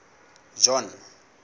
john